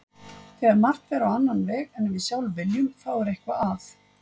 Þegar margt fer á annan veg en við sjálf viljum þá er eitthvað að.